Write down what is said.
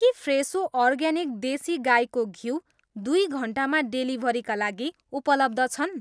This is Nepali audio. के फ्रेसो अर्ग्यानिक देशी गाईको घिउ दुई घन्टामा डेलिभरीका लागि उपलब्ध छन्?